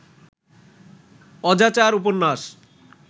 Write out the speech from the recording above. অজাচার উপন্যাস